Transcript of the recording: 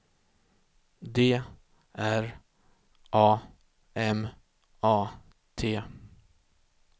D R A M A T